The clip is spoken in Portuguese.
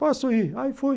Posso ir, aí fui.